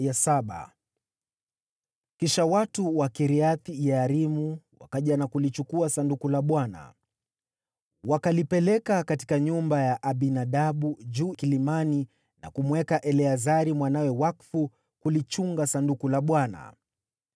Kisha watu wa Kiriath-Yearimu wakaja na kulichukua Sanduku la Bwana . Wakalipeleka katika nyumba ya Abinadabu juu kilimani na kumweka Eleazari mwanawe wakfu kulichunga Sanduku la Bwana .